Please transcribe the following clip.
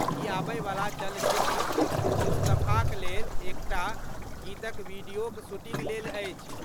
ई आबयवला चलचित्र 'मुस्तफा'क लेल एकता गीतक वीडियोक शूटिँग लेल अछि।